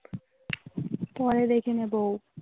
পরে দেখে নেবো.